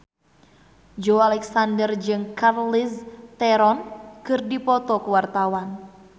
Joey Alexander jeung Charlize Theron keur dipoto ku wartawan